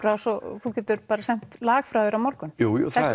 rás og þú getur bara sent lag frá þér á morgun jú